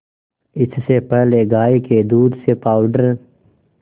इससे पहले गाय के दूध से पावडर